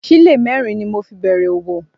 Sílè mẹ́rin ni mo fi bẹ̀rẹ̀ òwò